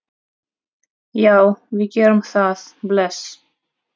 Já, við gerum það. Bless.